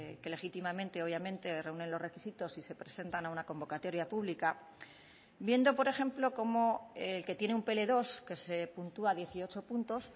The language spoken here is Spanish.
que legítimamente obviamente reúnen los requisitos y se presentan a una convocatoria pública viendo por ejemplo como el que tiene un pe ele dos que se puntúa dieciocho puntos